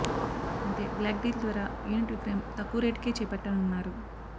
అంటే block deal ద్వారా unit విక్రయం తక్కువ రేటుకే చేపట్టనున్నారు